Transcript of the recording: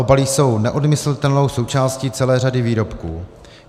Obaly jsou neodmyslitelnou součástí celé řady výrobků.